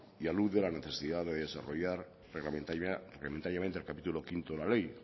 y a luz de la necesidad de desarrollar reglamentariamente el capítulo quinto de la ley